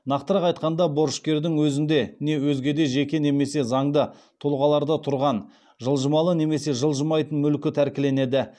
нақтырақ айтқанда борышкердің өзінде не өзге де жеке немесе заңды тұлғаларда тұрған жылжымалы немесе жылжымайтын мүлкі тәркіленеді